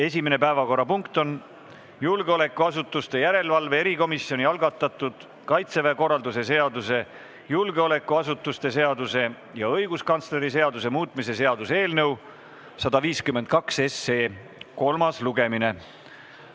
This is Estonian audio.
Esimene päevakorrapunkt on julgeolekuasutuste järelevalve erikomisjoni algatatud Kaitseväe korralduse seaduse, julgeolekuasutuste seaduse ja õiguskantsleri seaduse muutmise seaduse eelnõu 152 kolmas lugemine.